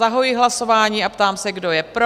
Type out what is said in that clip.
Zahajuji hlasování a ptám se, kdo je pro?